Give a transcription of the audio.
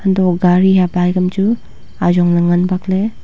hanto gari hia bike am chu ajong lah ngan bakley.